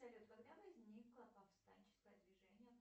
салют когда возникло повстанческое движение